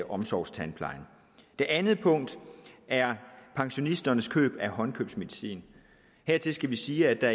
omsorgstandplejen det andet punkt er pensionisternes køb af håndkøbsmedicin hertil skal vi sige at der